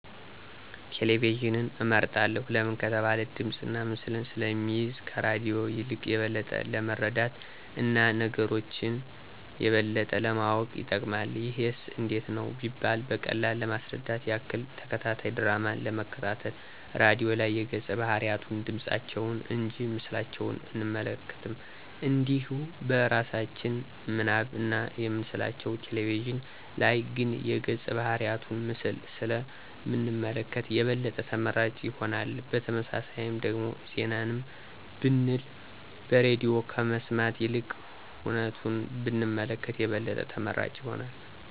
ቴሌቪዥንን እመርጣለሁ ለምን ከተባለ ድምፅና ምስልን ስለሚይዝ ከራድዮ የልቅ የበለጠ ለመረዳት እና ነገሮች የበለጠ ለማወቅ ይጠቅማል። ይሄስ እንዴት ነው ቢባል በቀላሉ ለማስረዳት ያክል፦ ተከታታይ ድራማን ለመከታተል ራድዮ ላይ የገፀ ባህርያቱን ድምፃቸውን እንጂ ምስላቸውን አንመለከትም እንዲሁ በእራሳችን ምናብ ነው የምንስላቸው፤ ቴሌቪዥን ላይ ግን የገፀ ባህርያቱን ምስል ስለ ምንመለከት የበለጠ ተመራጭ ይሆናል። በተመሳሳይም ደግሞ ዜናንም ብንል በሬድዮ ከመስማት ይልቅ ሁነቱን ብንመለከት የበለጠ ተመራጭ ይሆናል።